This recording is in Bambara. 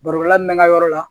Barobɔla min bɛ ka yɔrɔ la